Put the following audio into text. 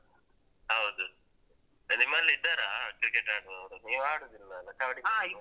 ಹೌದು ನಿಮ್ಮಲ್ಲಿ ಇದ್ದಾರಾ ಕ್ರಿಕೆಟ್ ಆಡುವವ್ರು ನೀವು ಆಡುದಿಲ್ಲ ಅಲ ಕಬಡಿ